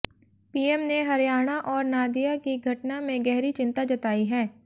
PM ने हरियाणा और नादिया की घटना में गहरी चिंता जताई है